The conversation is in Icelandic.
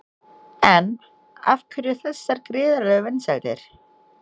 En af hverju þessar gríðarlegu vinsældir?